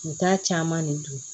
U t'a caman de dun